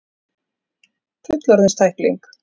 Fullorðins tækling.